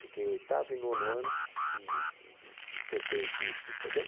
Fiquei oitavo e nono ano e e fechei o curso, entendeu?